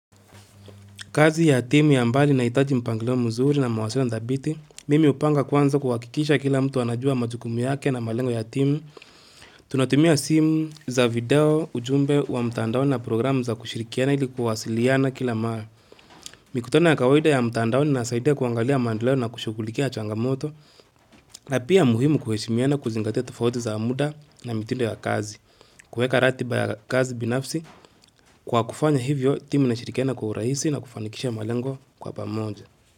Kazi ya timu ya mbali nahitaji mpangiliu mzuri na mwasiliano ndabiti, mimi upanga kwanza kuwakikisha kila mtu wanajua majukumu yake na malengo ya timu. Tunatumia simu za video ujumbe wa mtandaoni na programu za kushirikiana ili kuhasiliyana kila maa. Mikutano ya kawaida ya mtandaoni inasaidia kuangalia maendelao na kushughulikia changamoto, na pia muhimu kuheshimiana kuzingatia tofauti za muda na mitindo ya kazi, kuweka ratiba ya kazi binafsi kwa kufanya hivyo timu inashirikina kuurahisi na kufanikisha malengo kwa pamoja.